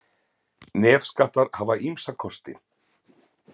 Nefskattar hafa ýmsa kosti.